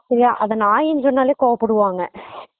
சேரியா அத நாய் னு சொன்னாலே கோவப்படுவாங்க